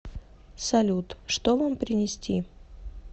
салют что вам принести